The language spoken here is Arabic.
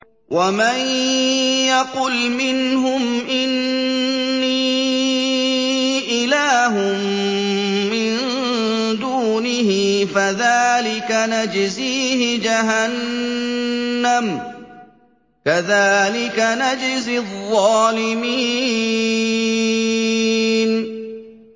۞ وَمَن يَقُلْ مِنْهُمْ إِنِّي إِلَٰهٌ مِّن دُونِهِ فَذَٰلِكَ نَجْزِيهِ جَهَنَّمَ ۚ كَذَٰلِكَ نَجْزِي الظَّالِمِينَ